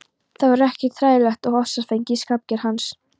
Það var ekkert hræðilegt og ofsafengið í skapgerð hans.